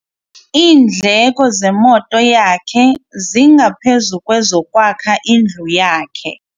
Iindleko zemoto yakhe zingaphezu kwezokwakha indlu yakhe.